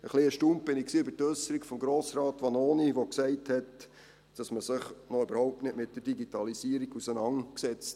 Etwas erstaunt war ich über die Äusserung von Grossrat Vanoni, der gesagt hat, man habe sich noch überhaupt nicht mit der Digitalisierung auseinandergesetzt.